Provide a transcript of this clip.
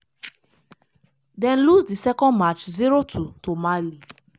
dem lose di second match 0-2 to mali.